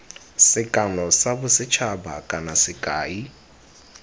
sekano sa bosethaba kana sekai